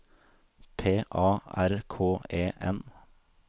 P A R K E N